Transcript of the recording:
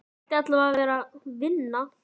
Hann ætti allavega að vera að vinna.